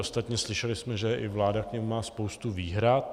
Ostatně slyšeli jsme, že i vláda k němu má spoustu výhrad.